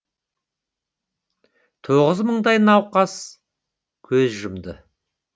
тоғыз мыңдай науқас көз жұмды